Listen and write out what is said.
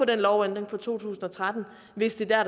den lovændring fra to tusind og tretten hvis det er